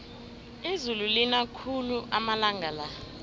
izulu lina khulu amalanga la